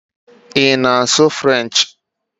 Ị na-asụ Frenchi?